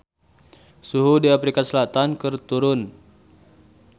Suhu di Afrika Selatan keur turun